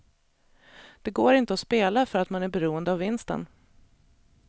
Det går inte att spela för att man är beroende av vinsten.